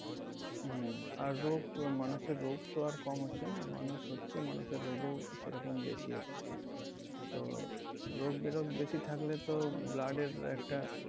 হম আর রোগ মানুষের রোগ তো আর কম হচ্ছে না মানুষ হচ্ছে মানুষের রোগ ও সেরকম বেশি হচ্ছে, তো রোগ বেরোগ বেশি থাকলে তো blood এর একটা